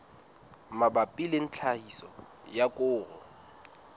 mabapi le tlhahiso ya koro